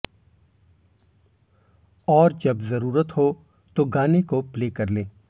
और जब ज़रूरत हो तो गाने को प्ले कर लें